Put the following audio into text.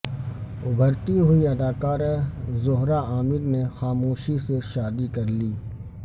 ابھرتی ہوئی اداکارہ زہرہ عامر نے خاموشی سے شادی کرلی